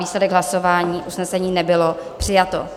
Výsledek hlasování: usnesení nebylo přijato.